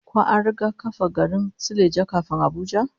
Ko an riga kafa garin Suleja kafin Abuja?